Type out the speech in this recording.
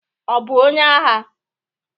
Ọ bụ onye agha?